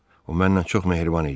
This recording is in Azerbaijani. O məndən çox mehriban idi.